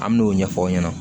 An me n'o ɲɛfɔ aw ɲɛna